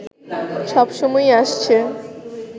সব সময়ই আসছে